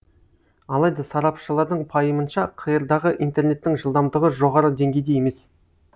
алайда сарапшылардың пайымынша қр дағы интернеттің жылдамдығы жоғары деңгейде емес